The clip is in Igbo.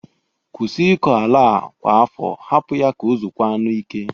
Kwusi ịkọ ala a kwa afọ. Hapụ ya ka o zokwanụ ike!